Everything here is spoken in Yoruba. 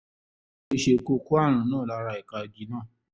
ó ṣe kó o kó ààrùn náà lára ẹ̀ka igi náà